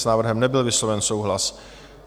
S návrhem nebyl vysloven souhlas.